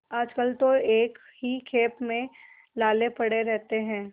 आजकल तो एक ही खेप में लाले पड़े रहते हैं